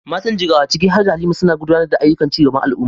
Matan Jigawa, ciki har da Halima, suna gudanar da ayyukan ci gaban al’umma.